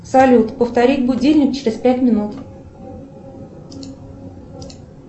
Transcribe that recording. салют повторить будильник через пять минут